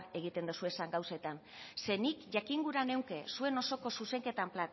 egiten dituzuen gauzetan zeren nik jakin gura nuke zuen osoko zuzenketan